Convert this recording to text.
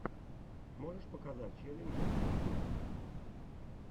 можешь показать челленджи в ютюбе